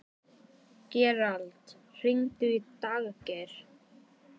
Gerald, hringdu í Daggeir.